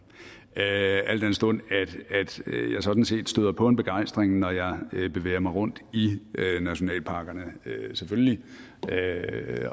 al den stund at jeg sådan set støder på en begejstring når jeg bevæger mig rundt i nationalparkerne selvfølgelig